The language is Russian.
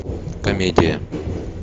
комедия